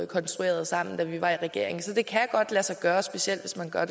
konstruerede sammen da vi var i regering så det kan godt lade sig gøre specielt hvis man gør